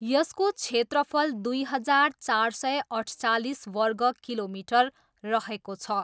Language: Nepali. यसको क्षेत्रफल दुई हजार चार सय अठचालिस वर्ग किलोमिटर रहेको छ।